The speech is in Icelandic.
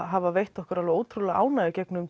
hafa veitt okkar ótrúlega ánægju í gegnum